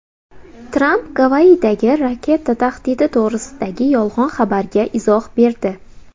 Tramp Gavayidagi raketa tahdidi to‘g‘risidagi yolg‘on xabarga izoh berdi.